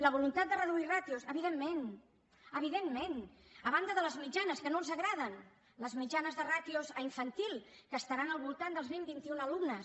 la voluntat de reduir ràtios evidentment evidentment a banda de les mitjanes que no els agraden les mitjanes de ràtios a infantil que estaran al voltant dels vint vint i un alumnes